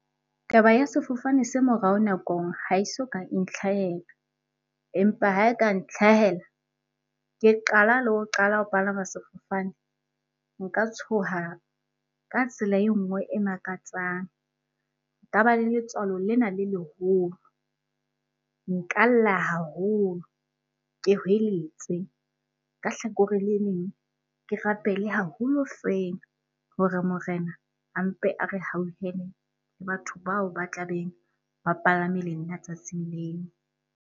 Taba ya sefofane se morao nakong ha e soka e ntlhahela. Empa ha e ka ntlhahela ke qala le ho qala ho palama sefofane, nka tshoha ka tsela e nngwe e makatsang, nka ba le letswalo lena le leholo, nka lla haholo, ke hweletse. Ka hlakoreng le leng, ke rapele haholo feela hore morena a mpe a re hauhele le batho bao ba tla beng ba palame le nna tsatsing leo.